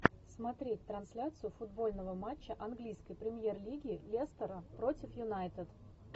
смотреть трансляцию футбольного матча английской премьер лиги лестера против юнайтед